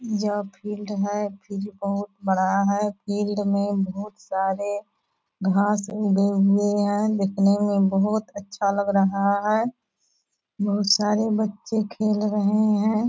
यह फील्ड है फील्ड बहुत बड़ा है | फील्ड मे बहुत सारे घास उगे हुए हैं | देखने मे बहुत अच्छा लग रहा है बहुत सारे बच्चे खेल रहे हैं |